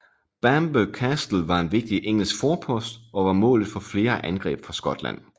Bamburgh Castle var en vigtig engelsk forpost og var målet for flere angreb fra Skotland